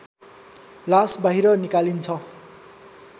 लास बाहिर निकालिन्छ